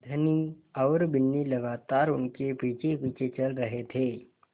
धनी और बिन्नी लगातार उनके पीछेपीछे चल रहे थे